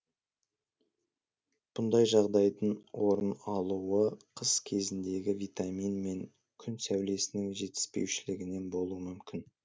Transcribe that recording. бұндай жағдайдың орын алуы қыс кезіндегі витамин мен күн сәулесінің жетіспеушілігінен болуы мүмкін